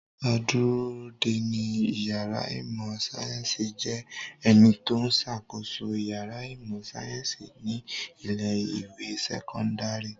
Adúródeni ìyàrá ìmọ̀-sáyẹ́ńsì jẹ́ ẹni tó ń ṣàkóso ìyàrá ìmọ̀-sáyẹ́ńsì ní ilé-ìwé sẹ́kọ́ndárì.